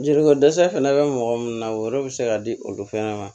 Jelikɔ dɛsɛ fɛnɛ bɛ mɔgɔ munnu na o yɔrɔ bɛ se ka di olu fana ma